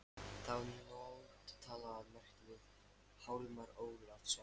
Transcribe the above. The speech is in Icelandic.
Þá nótt talaði ég margt við Hjálmar Ólafsson.